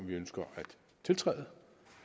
vi ønsker at tiltræde